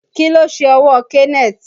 Kí ló ṣe ọwọ́ Kenneth?